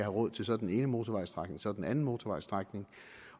råd til så den ene motorvejsstrækning og så den anden motorvejsstrækning